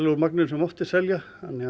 úr magninu sem mátti selja